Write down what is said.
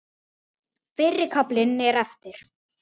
Fyrri kaflinn er eftir